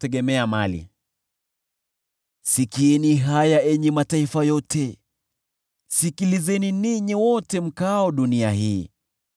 Sikieni haya, enyi mataifa yote, sikilizeni, ninyi wote mkaao dunia hii.